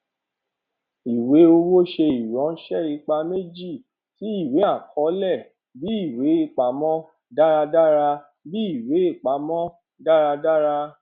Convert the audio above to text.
ìwé owó ṣe iranṣẹ ipa méjì tí ìwéàkọọlẹ bí ìwéapamọ dáradára bí ìwéapamọ dáradára